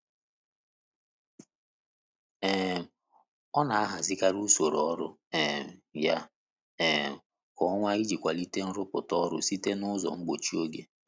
um Ọ n'ahazikari usoro ọrụ um ya um kwa ọnwa iji kwalite nrụpụta ya site na ụzọ mgbochi oge.